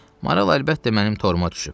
Maral əlbəttə mənim toruma düşüb.